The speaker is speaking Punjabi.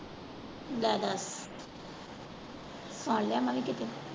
ਲੈ ਦੱਸ ਸੁਨ ਲਿਆ ਮੈਂ ਵੀ ਕਿਤੋਂ।